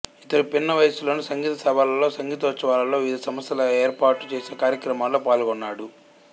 ఇతడు పిన్నవయసులోనే సంగీత సభలలో సంగీతోత్సవాలలో వివిధ సంస్థలు ఏర్పాటు చేసిన కార్యక్రమాలలో పాల్గొన్నాడు